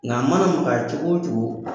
Nka mana magaya cogo cogo